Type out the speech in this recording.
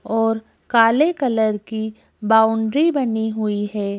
और काले कलर की बाउंड्री बनी हुई है।